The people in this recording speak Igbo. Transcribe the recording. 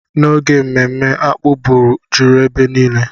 N'oge mmemme, akpu bụ juru ebe niile.